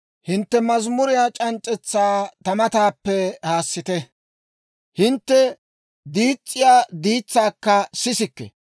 Hintte mazimuriyaa c'anc'c'etsaa ta mataappe haassite; hintte diis's'iyaa diitsaakka sisikke.